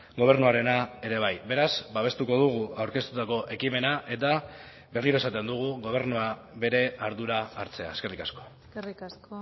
gobernuarena ere bai beraz babestuko dugu aurkeztutako ekimena eta berriro esaten dugu gobernua bere ardura hartzea eskerrik asko eskerrik asko